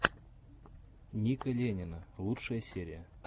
ника ленина лучшая серия